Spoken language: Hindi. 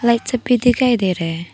सब भी दिखाई दे रहे है।